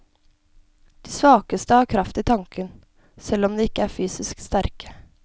De svakeste har kraft i tanken, selv om de ikke er fysisk sterke.